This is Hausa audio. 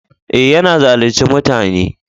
Eh, ya na zalunce mutane.